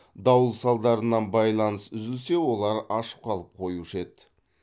дауыл салдарынан байланыс үзілсе олар аш қалып қоюшы еді